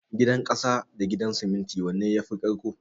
Gidan ƙasa da Gidan siminti wanne yafi ƙarƙko?